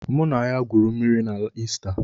Mụ na ya gwuru mmịrị na Ista.